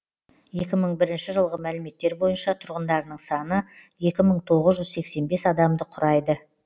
екі мың бірінші жылғы мәліметтер бойынша тұрғындарының саны екі мың тоғыз жүз сексен бес адамды құрайды